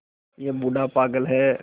यह बूढ़ा पागल है